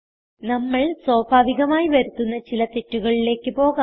നമ്മൾ സ്വാഭാവികമായി വരുത്തുന്ന ചില തെറ്റുകളിലേക്ക് പോകാം